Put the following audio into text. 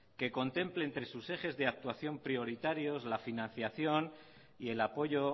que contemple entre sus ejes de actuación prioritarios la financiación y el apoyo